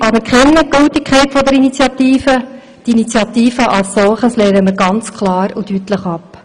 Wir anerkennen die Gültigkeit der Initiative, aber die Initiative als solche lehnen wir ganz klar und deutlich ab.